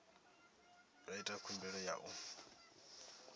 nga ita khumbelo ya u